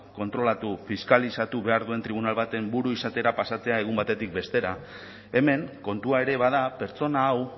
kontrolatu fiskalizatu behar duen tribunal baten buru izatera pasatzea egun batetik bestera hemen kontua ere bada pertsona hau